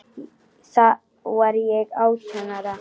Þá var ég átján ára.